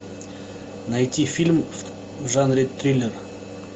найти фильм в жанре триллер